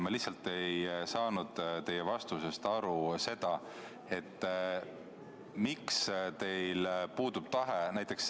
Ma lihtsalt ei saanud teie vastusest aru seda, miks teil puudub tahe.